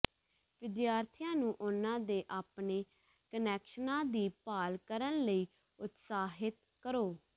ਵਿਦਿਆਰਥੀਆਂ ਨੂੰ ਉਹਨਾਂ ਦੇ ਆਪਣੇ ਕਨੈਕਸ਼ਨਾਂ ਦੀ ਭਾਲ ਕਰਨ ਲਈ ਉਤਸ਼ਾਹਿਤ ਕਰੋ